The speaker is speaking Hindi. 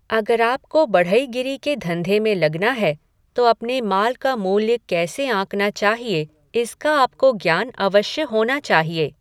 अगर आपको बढ़ईगिरी के धंधे में लगना है, तो अपने माल का मूल्य कैसे आँकना चाहिए, इसका आपको ज्ञान अवश्य होना चाहिए।